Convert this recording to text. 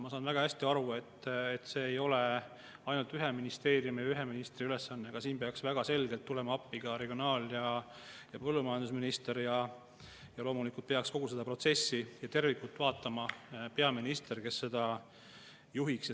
Ma saan väga hästi aru, et see ei ole ainult ühe ministeeriumi ja ühe ministri ülesanne, siin peaks väga selgelt tulema appi ka regionaal‑ ja põllumajandusminister ning loomulikult peaks kogu seda protsessi ja tervikut vaatama peaminister, kes seda peaks juhtima.